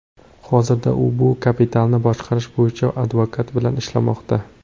Hozirda u bu kapitalni boshqarish bo‘yicha advokat bilan ishlamoqda.